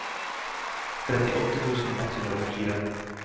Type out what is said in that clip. trettiåtte tusen ett hundre og fire